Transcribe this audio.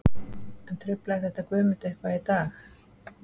En truflaði þetta Guðmund eitthvað í dag?